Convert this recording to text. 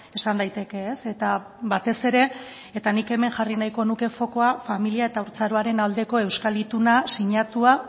esan daiteke eta batez ere eta nik hemen jarri nahiko nuke fokoa familia eta haurtzaroaren aldeko euskal ituna sinatua